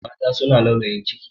Mata suna laulayin ciki.